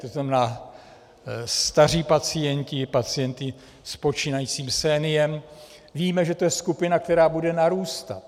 To znamená staří pacienti, pacienti s počínajícím seniem, víme, že to je skupina, která bude narůstat.